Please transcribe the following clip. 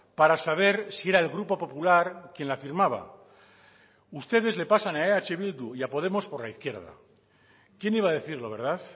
para saber si era el grupo popular quien la firmaba ustedes le pasan a eh bildu y a podemos por la izquierda quien iba a decirlo verdad